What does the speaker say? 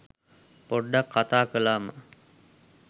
පොඩ්ඩක් කතා කලාම